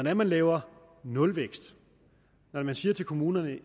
er man laver nulvækst når man siger til kommunerne